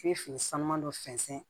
I bɛ fini san man dɔ sɛnsɛn